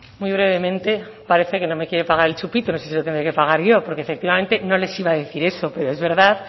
muy brevemente parece que no me quiere pagar el chupito no sé si se lo tendré que pagar yo porque efectivamente no les iba a decir eso pero es verdad